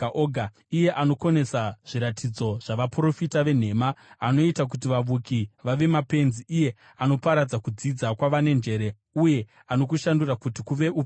“iye anokonesa zviratidzo zvavaprofita venhema, anoita kuti vavuki vave mapenzi, iye anoparadza kudzidza kwevane njere, uye anokushandura kuti kuve upenzi,